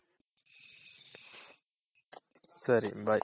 ಸರಿ bye.